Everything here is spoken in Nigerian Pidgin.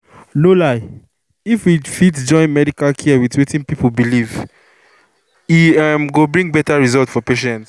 no lie — if we fit join medical care with wetin people believe e um go bring better result for patients